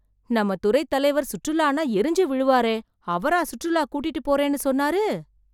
நம்ம துறைத் தலைவர் சுற்றுலானா எரிஞ்சி விழுவாரே அவரா சுற்றுலா கூட்டிட்டு போறேனு சொன்னாரு